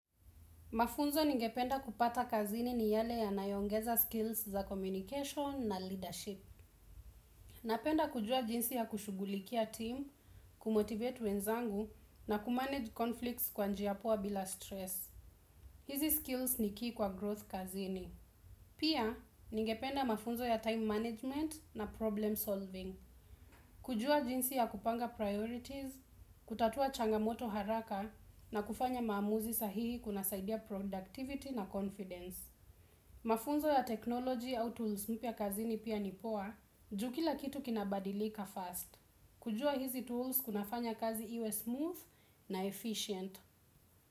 Mafunzo ningependa kupata kazini niyale yanayoongeza skills za communication na leadership. Napenda kujua jinsi ya kushugulikia team, kumotivate wenzangu na kumanage conflicts kwa njia poa bila stress. Hizi skills ni key kwa growth kazini. Pia, ngependa mafunzo ya time management na problem solving. Kujua jinsi ya kupanga priorities, kutatua changamoto haraka na kufanya maamuzi sahihi kunasaidia productivity na confidence. Mafunzo ya technology au tools mpya kazini pia ni poa ju kila kitu kina badilika fast kujua hizi tools kunafanya kzi iwe smooth na efficient.